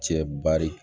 Cɛ bari